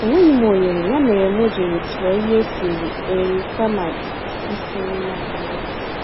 Enweghịm ohere, ya mere m jírí tụọ ihe esiri-eai kama isi nri n'abalị a.